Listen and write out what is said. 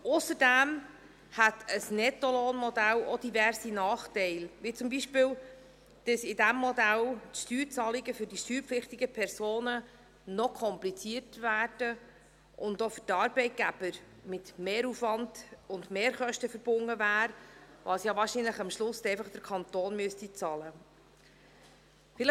Ausserdem hätte ein Nettolohnmodell auch diverse Nachteile, wie zum Beispiel, dass in diesem Modell die Steuerzahlungen für die steuerpflichtigen Personen noch komplizierter würden und auch für die Arbeitgeber mit Mehraufwand und Mehrkosten verbunden wären, was am Schluss wahrscheinlich der Kanton bezahlen müsste.